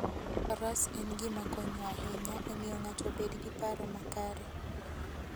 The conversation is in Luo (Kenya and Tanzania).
Faras en gima konyo ahinya e miyo ng'ato obed gi paro makare.